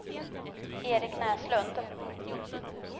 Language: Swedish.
Eric Näslund